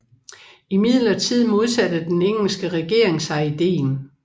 Imidlertid modsatte den engelske regering sig ideen